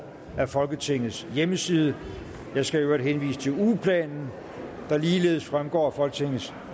af folketingets hjemmeside jeg skal i øvrigt henvise til ugeplanen der ligeledes fremgår af folketingets